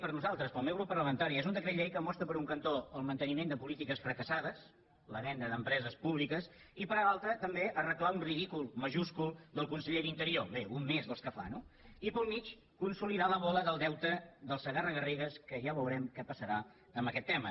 per nosaltres pel meu nostre grup parlamentari és un decret llei que mostra per un cantó el manteniment de polítiques fracassades la venda d’empreses públiques i per l’altre també arreglar un ridícul majúscul del conseller d’interior bé un més dels que fa no i pel mig consolidar la bola del deute del segarra garrigues que ja veurem què passarà amb aquest tema